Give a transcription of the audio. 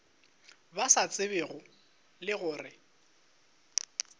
ba sa tsebego le gore